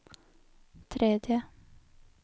tredje